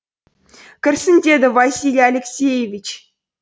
кірсін деді василий алексеевич